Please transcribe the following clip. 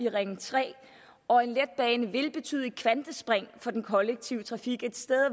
af ring tre og en letbane vil betyde et kvantespring for den kollektive trafik et sted